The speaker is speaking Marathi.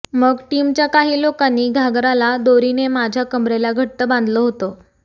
मग टीमच्या काही लोकांनी घाघराला दोरीने माझ्या कमरेला घट्ट बांधलं होते